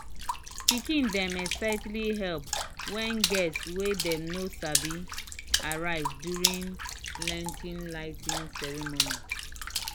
pikin dem excitedly help when guests wey dem no sabi arrive during lantern lighting ceremony."